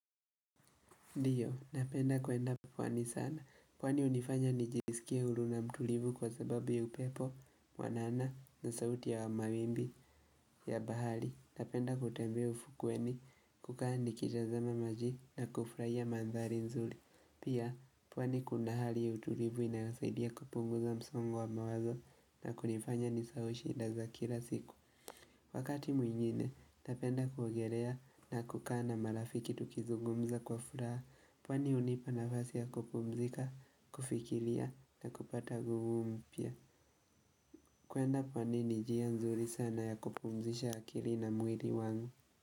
Ndiyo, napenda kuenda pwani sana, pwani hunifanya nijisikie huru na mtulivu kwa sababu ya upepo, mwanana na sauti ya wamawimbi ya bahari. Napenda kutembea ufukweni, kukaa nikitazama maji na kufurahia mandhari nzuri. Pia, pwani kuna hali ya utulivu inayosaidia kupunguza msongo wa mawazo na kunifanya nisahau shida za kila siku Wakati mwingine, napenda kuogelea na kukaa na marafiki tukizugumza kwa furaha. Pwani hunipa nafasi ya kupumzika, kufikiria na kupata nguvu mpya kuenda pwani ni njia nzuri sana ya kupumzisha akili na mwili wangu.